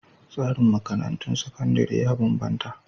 Tsarin makarantun sakandare ya bambanta..